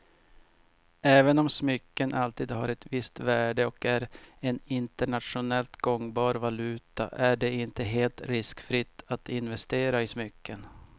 Även om smycken alltid har ett visst värde och är en internationellt gångbar valuta är det inte helt riskfritt att investera i smycken.